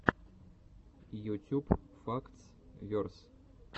ютюб фактс верс